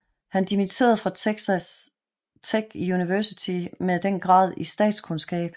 Han dimitterede fra Texas Tech Universitet med den grad i statskundskab